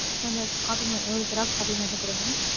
~ ஓரு, Xerox copy மட்டும் குடுங்க.